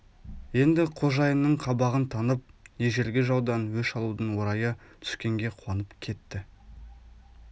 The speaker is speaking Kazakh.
енді қожайынның қабағын танып ежелгі жаудан өш алудың орайы түскенге қуанып кетті